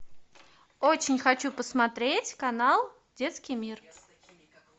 очень хочу посмотреть канал детский мир